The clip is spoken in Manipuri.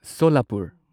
ꯁꯣꯂꯥꯄꯨꯔ